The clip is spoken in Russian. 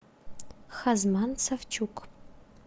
хазман савчук